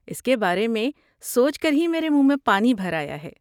اس کے بارے میں سوچ کر ہی میرے منہ میں پانی بھر آیا ہے۔